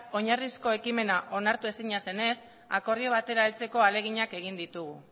oinarrizko ekimena onartezina zenez akordio batera heltzeko ahaleginak egin ditugu